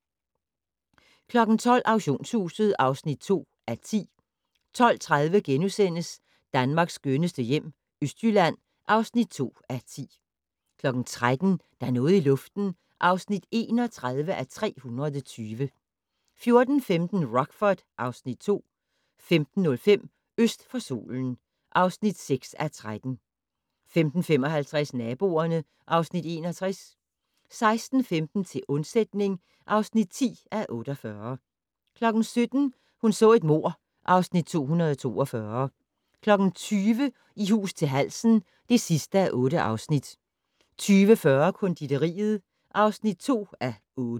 12:00: Auktionshuset (2:10) 12:30: Danmarks skønneste hjem - Østjylland (2:10)* 13:00: Der er noget i luften (31:320) 14:15: Rockford (Afs. 2) 15:05: Øst for solen (6:13) 15:55: Naboerne (Afs. 61) 16:15: Til undsætning (10:48) 17:00: Hun så et mord (Afs. 242) 20:00: I hus til halsen (8:8) 20:40: Konditoriet (2:8)